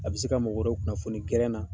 A bɛ se ka mɔgɔ wɛrɛ kunnafoni na.